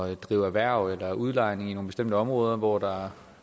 at drive erhverv eller udlejning i nogle bestemte områder hvor der